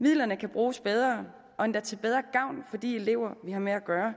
midlerne kan bruges bedre og endda til bedre gavn for de elever vi har med at gøre